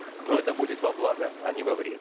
но это будет во благо а не во вред